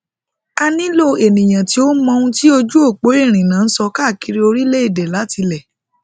a nilo eniyan ti o mọ ohun ti ojuopo irinna n sọ kaakiri orilẹede latilẹ